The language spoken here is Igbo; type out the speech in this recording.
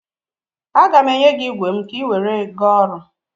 A gaghị m enye gị igwe m ka ị were gaa ọrụ.